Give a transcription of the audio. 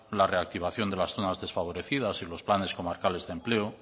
la reactivación de las zonas desfavorecidas y los planes comarcales de empleo